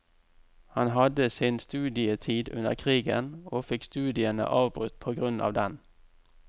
Han hadde sin studietid under krigen, og fikk studiene avbrutt på grunn av den.